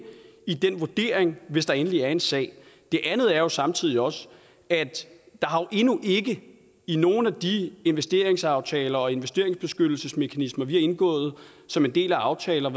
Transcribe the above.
i den vurdering hvis der endelig er en sag det andet er jo samtidig også at der endnu ikke i nogen af de investeringsaftaler og investeringsbeskyttelsesmekanismer vi har indgået som en del af aftaler